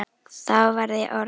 Þá var ég orð